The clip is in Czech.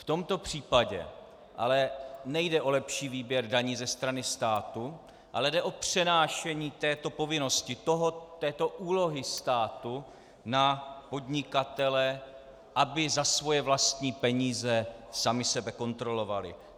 V tomto případě ale nejde o lepší výběr daní ze strany státu, ale jde o přenášení této povinnosti, této úlohy státu, na podnikatele, aby za svoje vlastní peníze sami sebe kontrolovali.